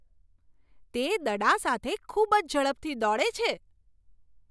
તે દડા સાથે ખૂબ જ ઝડપથી દોડે છે!